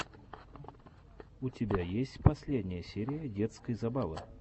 у тебя есть последняя серия детской забавы